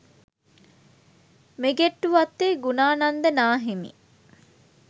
Migettuwatte Gunananda නාහිමි